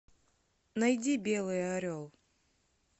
найди белый орел